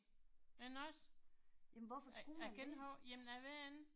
Men også. Jeg jeg gætter på, jamen jeg ved det ikke